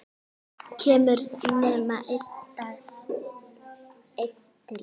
Kemur nema einn til greina?